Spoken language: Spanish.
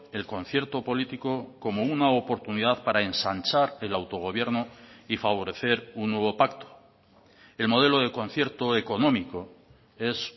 el concierto político como una oportunidad para ensanchar el autogobierno y favorecer un nuevo pacto el modelo de concierto económico es